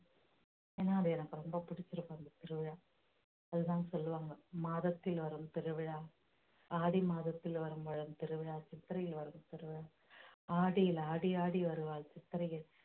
ஏன்னா அது எனக்கு ரொம்ப பிடிச்சிருக்கு அந்த திருவிழா அதுதான் சொல்லுவாங்க மாதத்தில் வரும் திருவிழா ஆடி மாதத்தில் வரும் திருவிழா சித்திரையில் வரும் திருவிழா ஆடியில் ஆடி ஆடி வருவாள் சித்திரையில்